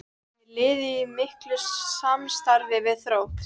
Er liðið í miklu samstarfi við Þrótt?